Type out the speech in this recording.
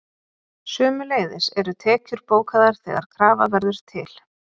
sömuleiðis eru tekjur bókaðar þegar krafa verður til